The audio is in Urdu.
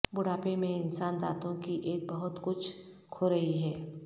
بڑھاپے میں انسان دانتوں کی ایک بہت کچھ کھو رہی ہے